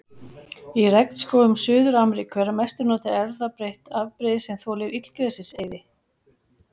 Í regnskógum Suður-Ameríku er að mestu notað erfðabreytt afbrigði sem þolir illgresiseyði.